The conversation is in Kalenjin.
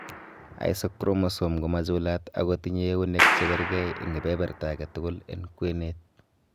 Isochromosome komachulat ago tinye eunek chekerkerkei en keberberta agetugul en kwenet.